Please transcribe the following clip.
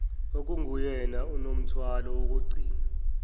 okunguyena onomthwalo wokugcina